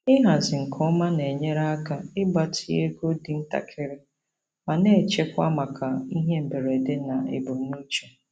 Ịhazi nke ọma na-enyere aka ịgbatị ego dị ntakịrị ma na-echekwa maka ihe mberede na ebumnuche.